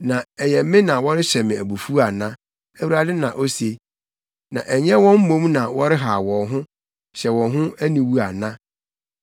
Na ɛyɛ me na wɔrehyɛ me abufuw ana? Awurade na ose. Na ɛnyɛ wɔn mmom na wɔrehaw wɔn ho, hyɛ wɔn ho aniwu ana?